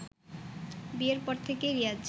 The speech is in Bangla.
বিয়ের পর থেকেই রিয়াজ